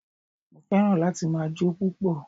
Mo fẹ́ràn láti ma jó púpọ̀